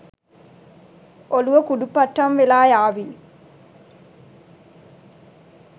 ඔළුව කුඩු පට්ටම් වෙලා යාවි.